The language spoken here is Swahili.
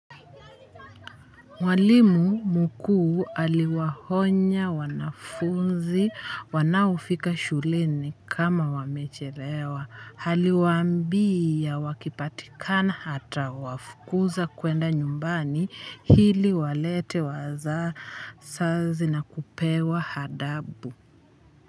Mwalimu mkuu aliwahonya wanafunzi wanaofika shuleni kama wamechelewa haliwambia wakipatikana hata wafukuza kuenda nyumbani hili walete waza sazi na kupewa hadabu.